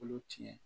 Olu tiɲɛ